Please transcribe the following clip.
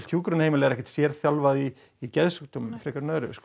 hjúkrunarheimila er ekkert sérþjálfað í geðsjúkdómum frekar en öðru